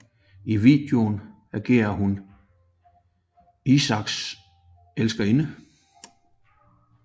I videoen agerer hun Isaaks elskerinde